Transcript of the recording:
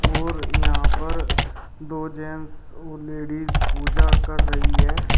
और यहां पर दो जेंट्स और लेडीज पूजा कर रही है।